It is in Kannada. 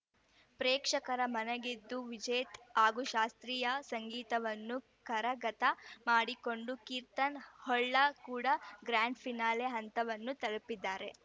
ಪ್ರೇಕ್ಷಕರ ಮನಗೆದ್ದ ವಿಜೇತ್‌ ಹಾಗೂ ಶಾಸ್ತ್ರೀಯ ಸಂಗೀತವನ್ನ ಕರಗತ ಮಾಡಿಕೊಂಡು ಕೀರ್ತನ್‌ ಹೊಳ್ಳ ಕೂಡ ಗ್ರಾಂಡ್‌ ಫಿನಾಲೆ ಹಂತವನ್ನು ತಲುಪಿದ್ದಾರೆ